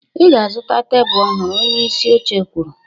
"Ị ga-azụta tebụl ọhụrụ" Onye isi oche kwuru